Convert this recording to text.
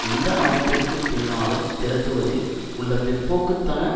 எந்த அமைப்பிற்கு பின்னாலும் திரட்டுவதில் உள்ள பிற்போக்கு தன